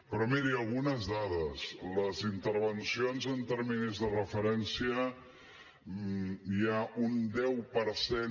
però miri algunes dades les intervencions amb terminis de referència hi ha un deu per cent